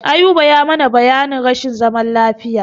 Ayuba ya mana bayanin rashin zaman lafiya.